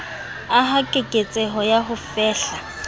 aha keketseho ya ho fehla